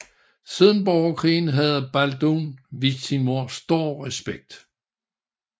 Siden borgerkrigen havde Balduin vist sin mor stor respekt